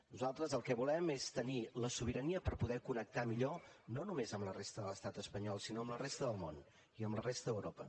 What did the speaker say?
nosaltres el que volem és tenir la sobirania per poder connectar millor no només amb la resta de l’estat espanyol sinó amb la resta del món i amb la resta d’europa